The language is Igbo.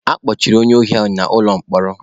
A kpọchiri onye ohi ahụ n'ụlọ mkpọrọ.